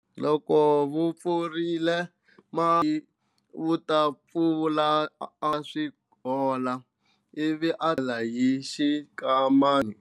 Loko swi vupifile musweki u ta phula a swi veka swi hola, ivi a teka comela hi xinkambana a kandzela, ivi a